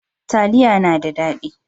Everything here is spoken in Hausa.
Taliya na da daɗi